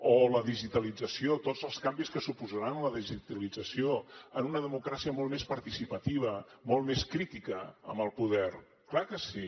o la digitalització tots els canvis que suposarà la digitalització en una democràcia molt més participativa molt més crítica amb el poder clar que sí